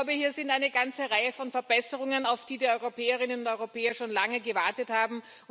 Ich glaube, hier sind eine ganze Reihe von Verbesserungen, auf die die Europäerinnen und Europäer schon lange gewartet haben.